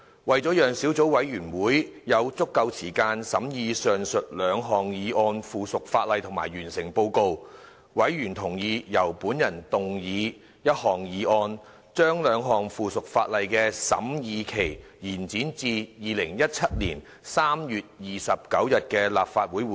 為了讓小組委員會有足夠時間審議上述兩項附屬法例及完成報告，委員同意由本人動議一項議案，將兩項附屬法例的審議期延展至2017年3月29日的立法會會議。